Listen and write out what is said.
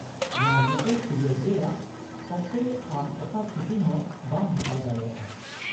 -ᱱᱚᱶᱟ ᱧᱮᱛᱮᱞ ᱯᱤᱨᱤᱭᱳᱰ ᱨᱮᱭᱟᱜ ᱚᱠᱛᱮ ᱟᱢ ᱚᱠᱟ ᱪᱷᱩᱴᱤ ᱦᱚᱸ ᱵᱟᱢ ᱦᱟᱛᱟᱣ ᱫᱟᱲᱮᱭᱟᱜᱼᱟ ᱾